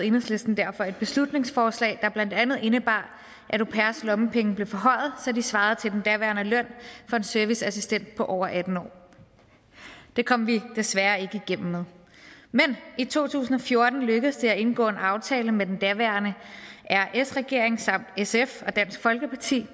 enhedslisten derfor et beslutningsforslag der blandt andet indebar at au pairers lommepenge blev forhøjet så de svarede til den daværende løn for en serviceassistent over atten år det kom vi desværre ikke igennem med men i to tusind og fjorten lykkedes det at indgå en aftale med den daværende sr regering samt sf og dansk folkeparti